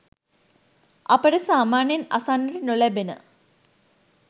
අපට සාමාන්‍යයෙන් අසන්නට නො ලැබෙන